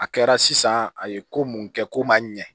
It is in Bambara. A kɛra sisan a ye ko mun kɛ ko ma ɲɛ